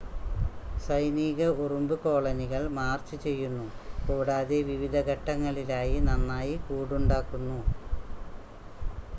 സൈനിക ഉറുമ്പ് കോളനികൾ മാർച്ച് ചെയ്യുന്നു കൂടാതെ വിവിധ ഘട്ടങ്ങളിലായി നന്നായി കൂടുണ്ടാക്കുന്നു